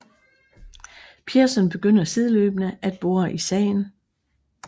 Pearson begynder sideløbende at bore i sagen